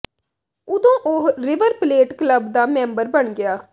ਉਦੋਂ ਉਹ River Plate club ਦਾ ਮੈਂਬਰ ਬਣ ਗਿਆ